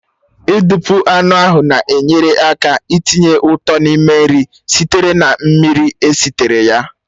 Ị dupu anụ ahụ na-enyere aka itinye ụtọ n'ime nri sitere na mmiri esitere ya